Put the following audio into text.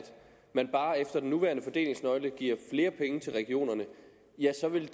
man bare efter den nuværende fordelingsnøgle giver flere penge til regionerne så vil